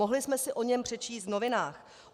Mohli jsme si o něm přečíst v novinách.